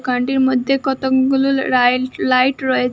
কানটির মধ্যে কতগুলো right light রয়ে--